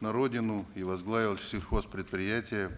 на родину и возглавил сельхозпредприятие